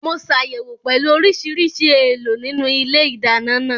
Mo ṣàyẹ̀wò pẹ̀lú oríṣiríṣi èèlò nínú ilé ìdáná náà